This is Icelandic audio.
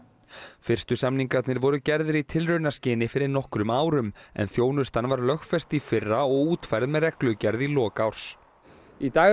fyrstu samningarnir voru gerðir í tilraunaskyni fyrir nokkrum árum en þjónustan var lögfest í fyrra og útfærð með reglugerð í lok árs í dag eru